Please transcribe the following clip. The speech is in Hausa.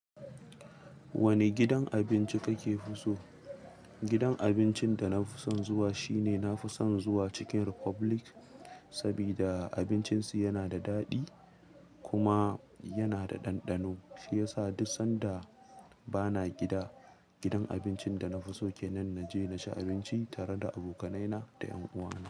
Wani gidan abinci kake fi so? Gidan abincin da na fi son zuwa shine nafi son zuwa Chicken Republic, sabida abincin su yana da daɗi kuma yana da ɗanɗano, shi yasa duk sanda bana gida, gidan abincin da na fi so kenan na je na ci abinci tare da abokanai na da ƴan'uwa na.